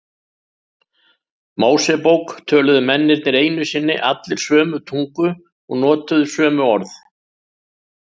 Mósebók töluðu mennirnir einu sinni allir sömu tungu og notuðu sömu orð.